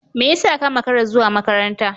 Me yasa ka makara zuwa makaranta?